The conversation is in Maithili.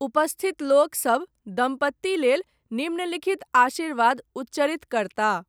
उपस्थित लोक सब, दम्पति लेल, निम्नलिखित आशीर्वाद उच्चरित करताह।